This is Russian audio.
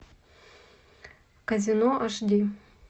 казино аш ди